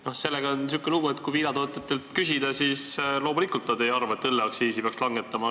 No sellega on sihuke lugu, et kui viinatootjatelt küsida, siis loomulikult nad ei arva, et õlleaktsiisi peaks langetama.